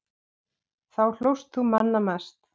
Þá hlóst þú manna mest.